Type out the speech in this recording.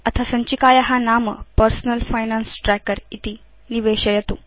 अथ सञ्चिकाया नाम पर्सनल फाइनान्स ट्रैकर इति निवेशयतु